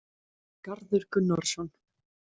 Garður Gunnarsson,